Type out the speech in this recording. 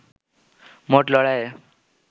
মোট লড়াইয়ে